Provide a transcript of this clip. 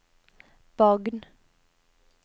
Bagn